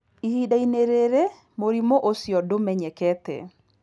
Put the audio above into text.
Ihinda-inĩ rĩrĩ, mũrimũ ũcio ndũmenyekete.